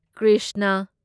Krishna